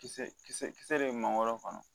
Kisɛ kisɛ kisɛ de bɛ mangoro kɔnɔ